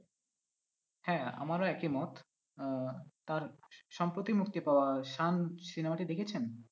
হ্যাঁ আমারও একই মত আহ তার সম্প্রতি মুক্তি পাওয়া cinema টি দেখেছেন?